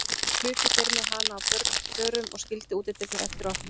Þá hlupu þeir með hana á börunum og skildu útidyrnar eftir opnar.